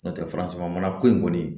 N'o tɛ farafinna mara ko in kɔni